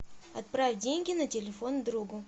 отправь деньги на телефон другу